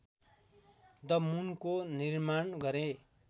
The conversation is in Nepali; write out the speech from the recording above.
द मुनको निर्माण गरे